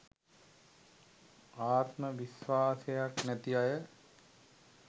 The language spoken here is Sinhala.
ආත්ම විස්වාසයක් නැති අය